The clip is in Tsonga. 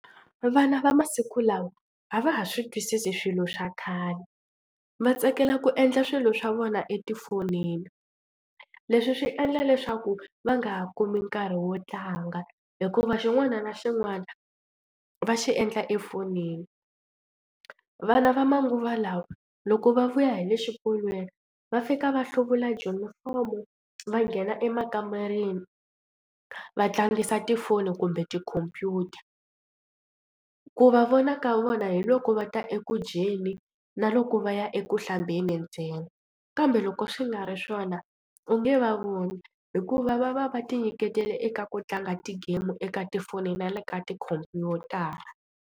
Vana va masiku lawa a va ha swi twisisi swilo swa khale va tsakela ku endla swilo swa vona etifonini. Leswi swi endla leswaku va nga kumi nkarhi wo tlanga hikuva xin'wana na xin'wana va xi endla efonini. Vana va manguva lawa loko va vuya hi le xikolweni va fika va hluvula junifomo va nghena emakamareni va tlangisa tifoni kumbe tikhompyuta. Ku va vona ka vona hi loko va ta eku dyeni na loko va ya eku hlambeni ntsena kambe loko swi nga ri swona u nge va voni hikuva va va va tinyiketela eka ku tlanga ti-game eka tifoni na le ka tikhompyutara.